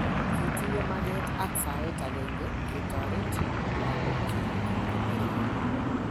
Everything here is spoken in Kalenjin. Kitinye maget ak saet agenge ketoret lagokyok koneryo.